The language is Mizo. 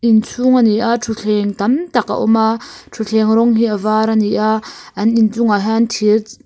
inchhung ani a thutthleng tam tak a awm a thutthleng rawng hi a var ani a an inchungah hian--